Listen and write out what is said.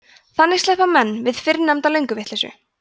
þannig sleppa menn við fyrrnefnda lönguvitleysu